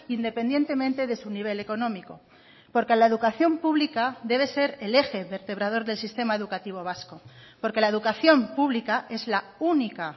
independientemente de su nivel económico porque la educación pública debe ser el eje vertebrador del sistema educativo vasco porque la educación pública es la única